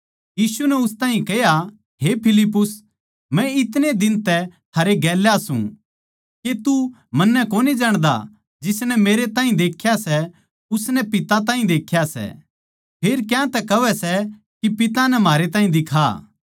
यीशु नै उस ताहीं कह्या हे फिलिप्पुस मै इतणे दिन तै थारे गेल्या सूं के तू मन्नै कोनी जाण्दा जिसनै मेरैताहीं देख्या सै उसनै पिता ताहीं देख्या सै फेर क्यातै कहवै सै के पिता नै म्हारैताहीं दिखा